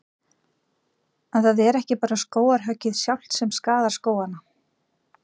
En það er ekki bara skógarhöggið sjálft sem skaðar skógana.